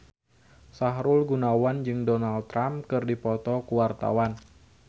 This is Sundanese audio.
Sahrul Gunawan jeung Donald Trump keur dipoto ku wartawan